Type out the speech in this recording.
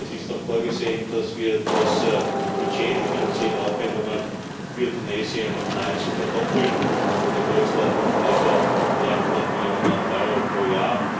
Es ist auch vorgesehen, dass wir das Budget, die finanziellen Aufwendungen, für Tunesien nahezu verdoppeln in der Größenordnung von etwa 300 Millionen Euro pro Jahr.